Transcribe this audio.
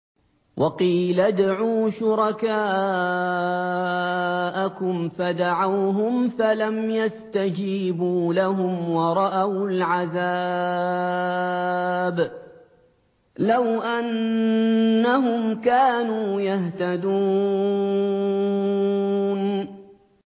وَقِيلَ ادْعُوا شُرَكَاءَكُمْ فَدَعَوْهُمْ فَلَمْ يَسْتَجِيبُوا لَهُمْ وَرَأَوُا الْعَذَابَ ۚ لَوْ أَنَّهُمْ كَانُوا يَهْتَدُونَ